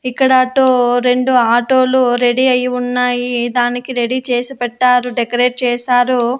ఇక్కడ అటో రెండు ఆటో లు రెడీ అయి ఉన్నాయి దానికి రెడీ చేసి పెట్టారు డెకరేట్ చేశారు.